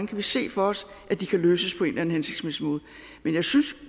kan se for os at de kan løses på en eller anden hensigtsmæssig måde men jeg synes